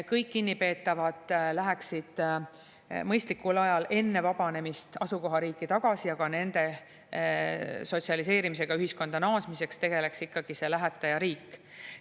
Kõik kinnipeetavad läheksid mõistlikul ajal enne vabanemist asukohariiki tagasi ja ka nende sotsialiseerimisega ühiskonda naasmiseks tegeleks ikkagi see lähetajariik.